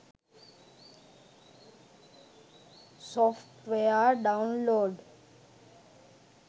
software download